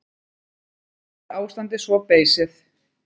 Ekki er ástandið svo beysið.